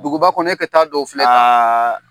Duguba kɔnɔ ne ka taa dɔw filɛ tan.